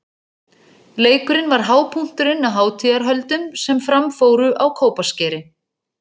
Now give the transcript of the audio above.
Leikurinn var hápunkturinn á hátíðarhöldum sem fram fóru á Kópaskeri.